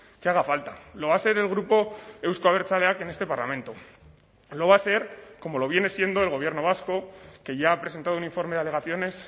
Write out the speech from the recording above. que haga falta lo va a ser el grupo euzko abertzaleak en este parlamento lo va a ser como lo viene siendo el gobierno vasco que ya ha presentado un informe de alegaciones